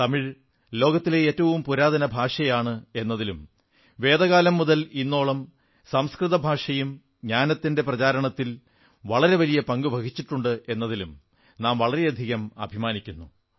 തമിഴ് ലോകത്തിലെ ഏറ്റവും പുരാതന ഭാഷയാണ് എന്നതിലും വേദകാലം മുതൽ ഇന്നോളം സംസ്കൃതഭാഷയും ജ്ഞാനത്തിന്റെ പ്രചാരണത്തിൽ വളരെ വലിയ പങ്കു വഹിച്ചിട്ടുണ്ട് എന്നതിലും നാം വളരെയധികം അഭിമാനിക്കുന്നു